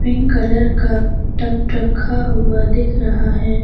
Pink colour का tub रखा हुआ दिख रहा है।